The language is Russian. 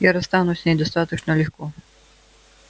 я расстанусь с ней достаточно легко